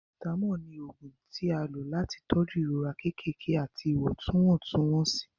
paracetamol ní oògùn tí a lò láti tọju ìrora kékeré àti iwọntwontun-wonsi.